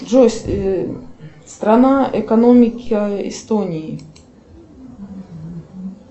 джой страна экономики эстонии